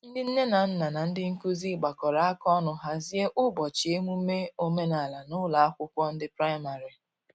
ndi nne na nna na ndi nkụzi gbakọrọ aka ọnụ hazie ubochi emume omenala n'ụlọ akwụkwo ndi praịmarị